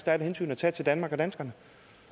er et hensyn at tage til danmark og danskerne